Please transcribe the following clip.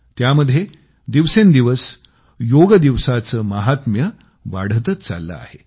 त्यामध्ये दिवसेंदिवस योगदिवसाचे महात्म्य वाढतच चालले आहे